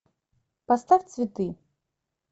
поставь цветы